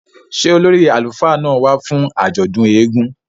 Ṣe ólòri àlufá náa wa fun àjọdun èègún?